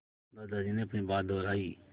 दादाजी ने अपनी बात दोहराई